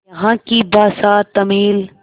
यहाँ की भाषा तमिल